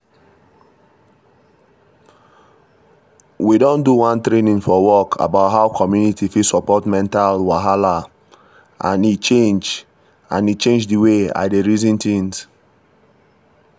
we do one training for work about how community fit support mental wahala and e change and e change the way i dey reason things